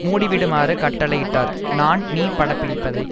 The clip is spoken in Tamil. மூடிவிடுமாறு கட்டளை இட்டார் நான் நீ படம் பிடிப்பதை